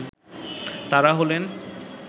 তারা হলেন